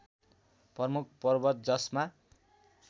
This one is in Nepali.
प्रमुख पर्वत जसमा